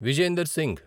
Vijender Singh